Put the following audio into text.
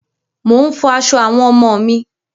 Mò ń fọ aṣọ àwọn ọmọ mi.